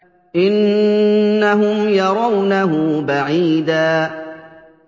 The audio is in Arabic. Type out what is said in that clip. إِنَّهُمْ يَرَوْنَهُ بَعِيدًا